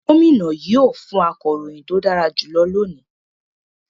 Gómìnà yóò fún akọ̀ròyìn tó dára jùlọ lónìí